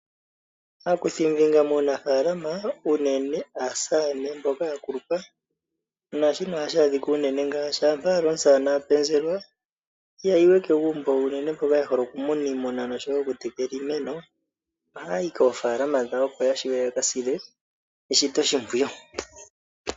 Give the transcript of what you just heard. Aakuthimbinga muunafaalama unene aasamane mboka ya kulupa . Ngele omusamane a penzelwa ihayi we kegumbo unene mboka ye hole okumuna iimuna nosho woo iimeno ohaya yi koofaalama dhawo, opo ya wape ya ka sile eshito oshimpwiyu.